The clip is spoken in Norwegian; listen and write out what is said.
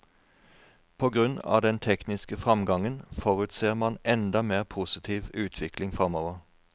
På grunn av den tekniske fremgangen forutser man enda mer positiv utvikling fremover.